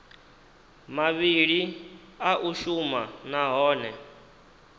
mavhili a u shuma nahone